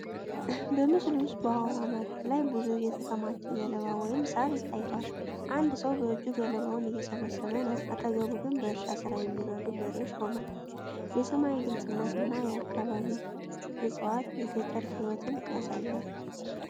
በምስሉ ውስጥ በአውራ መሬት ላይ ብዙ የተከማቸ ገለባ ወይም ሣር ታይቷል። አንድ ሰው በእጁ ገለባውን እየሰበሰበ ነው፣ አጠገቡ ግን በእርሻ ስራ የሚረዱ በሬዎች ቆሟል። የሰማይ ግልጽነት እና የአካባቢ ዕፅዋት የገጠር ሕይወትን ያሳያሉ።